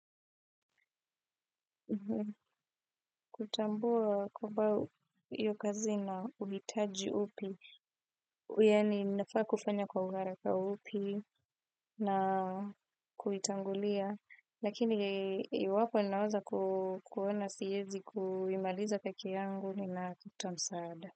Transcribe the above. Kutambua kwamba iyo kazi na uhitaji upi, yani mnafaa kufanya kwa uharaka upi na kuitangulia, lakini yu wapo ninawaza kuwana siezi kuimaliza peki yangu ni na kutamsaada.